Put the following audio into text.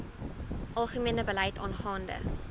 algemene beleid aangaande